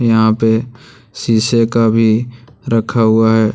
यहां पे शीशे का भी रखा हुआ है।